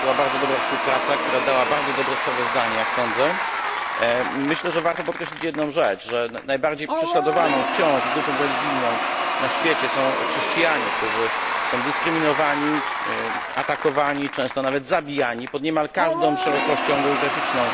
To była bardzo dobra współpraca, która dała bardzo dobre sprawozdanie, jak sądzę. Myślę, że warto podkreślić jedną rzecz, że najbardziej prześladowaną wciąż grupą religijną na świecie są chrześcijanie, którzy są dyskryminowani, atakowani, często nawet zabijani pod niemal każdą szerokością geograficzną.